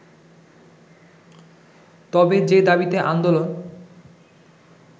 তবে যে দাবিতে আন্দোলন